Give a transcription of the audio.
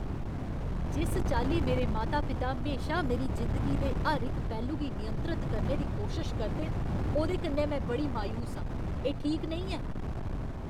जिस चाल्ली मेरे माता पिता म्हेशा मेरी जिंदगी दे हर इक पैह्लू गी नियंत्रत करने दी कोशश करदे न, ओह्दे कन्नै में बड़ी मायूस आं। एह् ठीक नेईं ऐ।